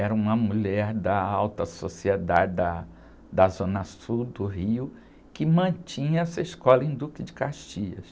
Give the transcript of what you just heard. era uma mulher da alta sociedade da, da zona sul do Rio, que mantinha essa escola em Duque de Caxias.